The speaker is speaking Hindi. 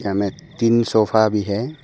यहाँ में तीन सोफा भी है।